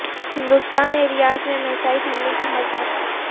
ہندستان نے ریاض میں میزائل حملے کی مذمت کی